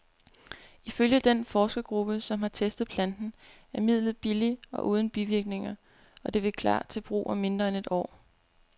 Ifølge den forskergruppe, som har testet planten, er midlet billigt og uden bivirkninger, og det vil klar til brug om mindre end et år.